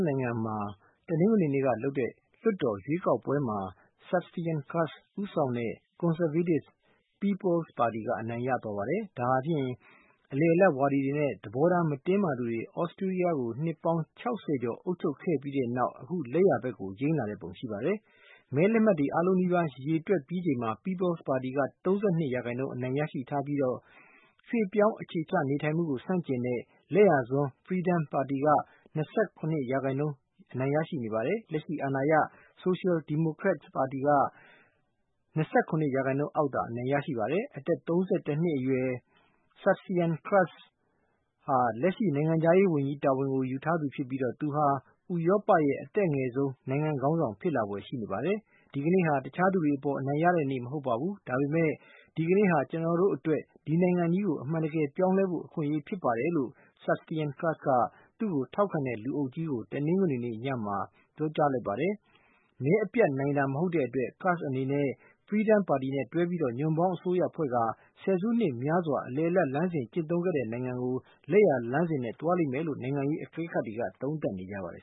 နိုင်ငံမှာ တနင်္ဂနွေနေ့ကလုပ်တဲ့ လွှတ်တော်ရွေးကောက်ပွဲမှာ Sebastian Kurz ဦးဆောင်တဲ့ ကွန်ဆာဗေးတစ် People’s Party အနိုင်ရသွားပါတယ်။ ဒါဟာဖြင့် အလယ်အလတ်ဝါဒီတွေနဲ့ သဘောထား မတင်းမာသူတွေ သြစတြီးယားကို နှစ်ပေါင်း ၆၀ ကျော် အုပ်ချုပ်ခဲ့ပြီးတဲ့နောက် အခုအခါ လက်ယာဘက်ကို ယိမ်းလာတဲ့ပုံရှိပါတယ်။ မဲလက်မှတ်တွေ အားလုံးနီးပါး ရေတွက်ပြီးချိန်မှာ People's Party က ၃၂ % အနိုင်ရရှိထားပြီး ရွှေ့ပြောင်းအခြေချ နေထိုင်မှုကို ဆန့်ကျင်တဲ့ လက်ယာစွန်း Freedom Party က ၂၇ % အနိုင်ရရှိနေပါတယ်။ လက်ရှိ အာဏာရ Social Democrats ပါတီ က ၂၇% အောက်သာ အနိုင်ရရှိပါတယ်။ အသက် ၃၁ နှစ်အရွယ် Sebastian Kurz ဟာ လက်ရှိ နိုင်ငံခြားရေးဝန်ကြီးတာဝန်ယူထားသူဖြစ်ပြီး သူဟာ ဥရောပရဲ့ အသက်အငယ်ဆုံး နိုင်ငံခေါင်းဆောင် ဖြစ်လာဖွယ်ရှိနေပါတယ်။ ဒီကနေ့ဟာ တခြားသူတွေအပေါ် အနိုင်ရတဲ့နေ့ မဟုတ်ပါဘူး ဒါပေမဲ့ ဒီကနေ့ဟာ ကျနော်တို့အတွက် ဒီနိုင်ငံကို အမှန်တကယ်ပြောင်းလဲဖို့ အခွင့်အရေးဖြစ်ပါတယ်လို့ Sebastian Kurz က သူ့ကိုထောက်ခံတဲ့ လူအုပ်ကြီးကို တနင်္ဂနွေနေ့ညမှာ ပြောကြားလိုက်ပါတယ်။ မဲအပြတ်နိုင်တာမဟုတ်တဲ့အတွက် Kurz အနေနဲ့ Freedom Party နဲ့တွဲပြီး ညွန့်ပေါင်းအစိုးရဖွဲ့ကာ ဆယ်စုနှစ်များစွာ အလယ်အလတ်လမ်းစဉ် ကျင့်သုံးခဲ့တဲ့နိုင်ငံကို လက်ယာလမ်းစဉ် နဲ့ သွားလိမ့်မယ်လို့ နိုင်ငံရေး အကဲခတ်တွေက သုံးသပ်ကြပါတယ်